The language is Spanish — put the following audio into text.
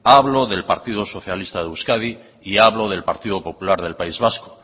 hablo del partido socialista de euskadi y hablo del partido popular del país vasco